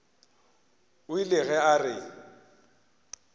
o ile ge a re